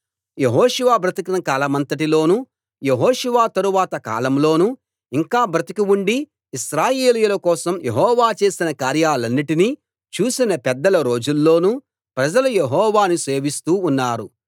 యెహోషువ బ్రతికిన కాలమంతటిలోనూ యెహోషువ తరువాత కాలంలోనూ ఇంకా బ్రతికి ఉండి ఇశ్రాయేలీయుల కోసం యెహోవా చేసిన కార్యాలన్నిటిని చూసిన పెద్దల రోజుల్లోనూ ప్రజలు యెహోవాను సేవిస్తూ ఉన్నారు